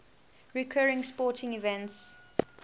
recurring sporting events